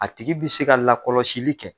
A tigi bi se ka lakɔlɔsili kɛ.